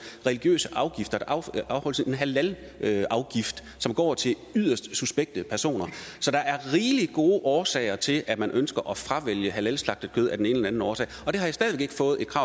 religiøse afgifter der afholdes en halalafgift som går til yderst suspekte personer så der er rigelig gode årsager til at man ønsker at fravælge halalslagtet kød af den ene eller anden årsag